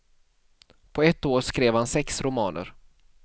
På ett år skrev han sex romaner.